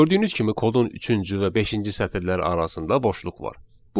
Gördüyünüz kimi kodun üçüncü və beşinci sətirləri arasında boşluq var.